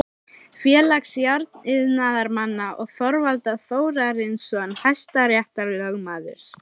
Félags járniðnaðarmanna og Þorvaldur Þórarinsson hæstaréttarlögmaður.